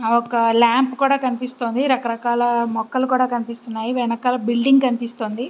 ఒక లాంప్ కూడా కనిపిస్తోంది రకరకాల మొక్కలు కూడా కనిపితున్నాయి వెనకల బిల్డింగ్ కూడా కనిపిస్తున్నది.